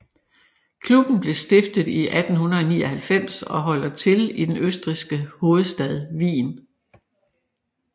Klubben blev stiftet i 1899 og holder til i den østrigske hovedstad Wien